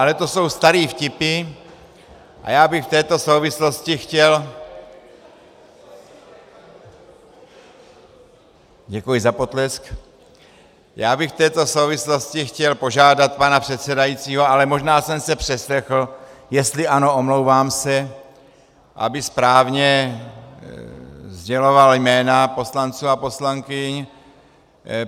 Ale to jsou staré vtipy a já bych v této souvislosti chtěl - děkuji za potlesk - já bych v této souvislosti chtěl požádat pana předsedajícího, ale možná jsem se přeslechl, jestli ano, omlouvám se, aby správně sděloval jména poslanců a poslankyň.